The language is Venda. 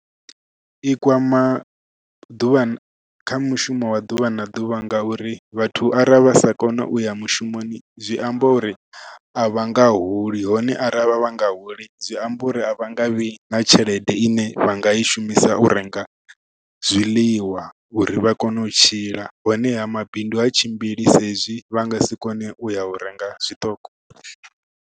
I kwama ḓuvha kha mushumo wa ḓuvha na ḓuvha ngauri vhathu arali vha sa kona uya mushumoni zwi amba uri a vha nga holi hone aravha vha nga holi zwi amba uri a vhanga vhi na tshelede ine vha nga i shumisa u renga zwiḽiwa uri vha kone u tshila honeha mabindu ha tshimbili sa hezwi vha nga si kone u ya u renga zwiṱoko.